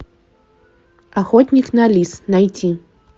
охотник на лис найти